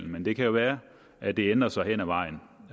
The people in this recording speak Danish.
men det kan jo være at det ændrer sig hen ad vejen